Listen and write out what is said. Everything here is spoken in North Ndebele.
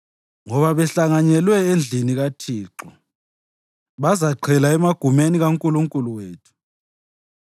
ngoba behlanyelwe endlini kaThixo, bazaqhela emagumeni kaNkulunkulu wethu.